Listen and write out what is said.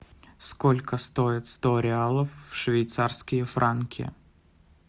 сколько стоит сто реалов в швейцарские франки